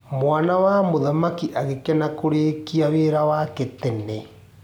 Mwana wa mũthamaki agĩkena kũũrĩkia wĩra wake tene.